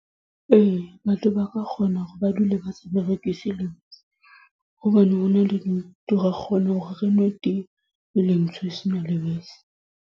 Ee, batho ba ka kgona hore ba dule ba sa berekise lebese. Hobane hona le dintho ra kgona hore re nwe tee, e le ntsho e sena lebese.